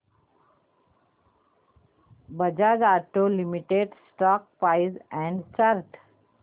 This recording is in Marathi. Bajaj auto limited stock price and chart